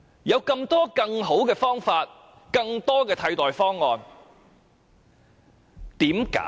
事實上，還有很多更好的替代方案。